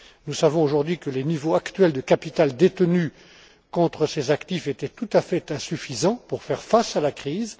Nous savons aujourd'hui que les niveaux actuels de capital détenu contre ces actifs étaient tout à fait insuffisants pour faire face à la crise.